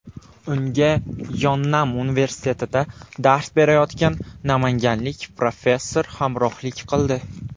Unga Yonnam universitetida dars berayotgan namanganlik professor hamrohlik qildi.